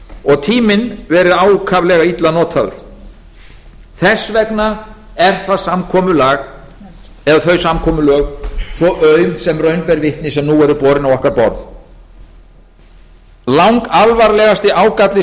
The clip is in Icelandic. og tíminn verið ákaflega illa notaður þess vegna er það samkomulag eða þau samkomulög svo aum sem raun ber vitni sem nú eru borin á okkar borð langalvarlegasti ágalli